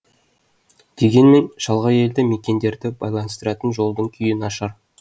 дегенмен шалғай елді мекендерді байланыстыратын жолдың күйі нашар